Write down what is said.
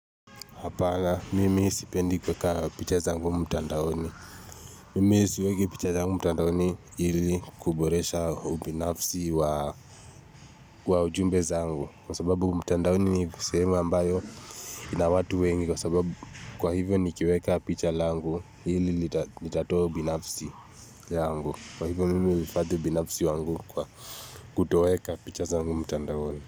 Hapana, mimi sipendi kuweka picha zangu mtandaoni. Mimi siweki picha zangu mtandaoni ili kuboresha ubinafsi wa ujumbe zangu. Kwa sababu mtandaoni ni sehemu ambayo ina watu wengi kwa sababu kwa hivyo nikiweka picha langu hili litatoa ubinafsi yangu. Kwa hivyo, mimi huhifadhi ubinafsi wangu kwa kutoweka picha zangu mtandaoni.